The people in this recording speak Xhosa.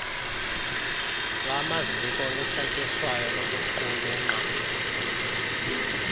lwamaziko olucetyiswayo lokuqulunqa